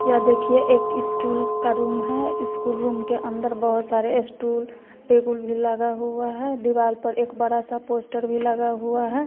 यह देखिए एक स्कूल का रूम है स्कूल रूम के अंदर बहुत सारे स्टूल टेबुल भी लगा हुआ है दीवार पर एक बड़ा सा पोस्टर भी लगा हुआ है।